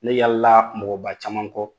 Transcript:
Ne yalala mɔgɔba caman kɔ